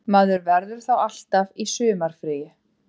Maður verður þá alltaf í sumarfríi